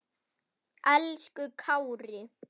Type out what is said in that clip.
Elsku Kári.